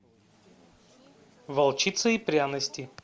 волчица и пряности